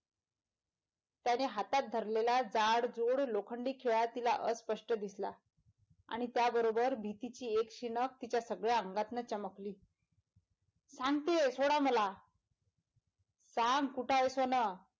त्याने हातात धरलेला जाडजुड लोखंडी खिळा तिला अस्पष्ट दिसला आणि त्याबरोबर भीतीची एक शीनक तिच्या सगळ्या अंगातनं चमकली सांगतीय सोडा मला . सांग कुठाय सोन?